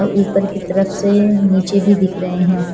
ऊपर की तरफ से नीचे भी दिख रहे है।